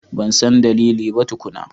Ban san dalili ba tukuna.